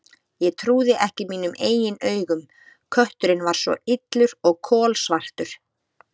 Ég trúði ekki mínum eigin augum: kötturinn var svo illur og kolsvartur.